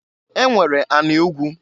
E nwere anị ugwu.